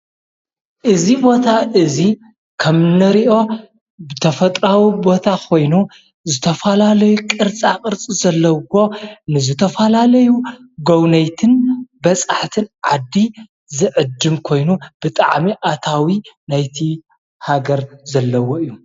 እዙ ቦታ እዙይ ከም ነሪኦ ብተፈጥራዊ ቦታ ኾይኑ ዘተፋላለየ ቕርጻ ቕርጽ ዘለዉዎ ንዘተፋላለዩ ጐውነይትን በጻሓሕትን ዓዲ ዘዕድም ኮይኑ ብጥዓሚ ኣታዊ ናይቲ ሃገር ዘለዎ እዩ።